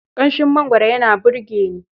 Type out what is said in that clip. Ƙanshin mangwaro yana burge ni.